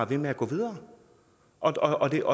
ved med at gå videre og det er